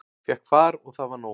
Fékk far og það var nóg.